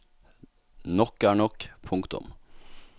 Nok er nok. punktum